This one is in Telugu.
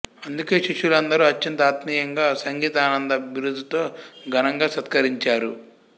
అందుకే శిష్యులందరూ అత్యంత ఆత్మీయంగా సంగీతానంద బిరుదుతో ఘనంగా సత్కరించారు